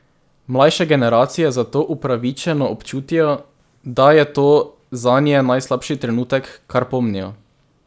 Mlajše generacije zato upravičeno občutijo, da je to zanje najslabši trenutek, kar pomnijo.